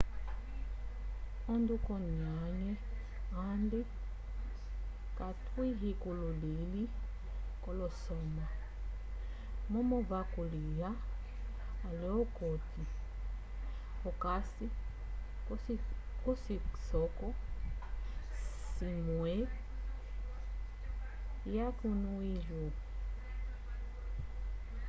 ondukonyaye andi katwahikulihile kolo soma momo vakuliha ale okuti okasi kocisoko cimwue ya cunu uigur